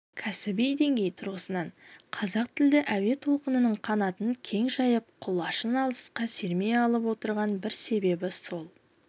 кәсіби деңгей тұрғысынан қазақ тілді әуе толқынының қанатын кең жайып құлашын алысқа сермей алмай отырған бір себебі сол